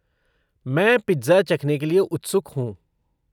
मैं पिज़्ज़ा चखने के लिए उत्सुक हूँ।